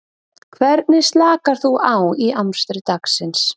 Hvernig slakar þú á í amstri dagsins?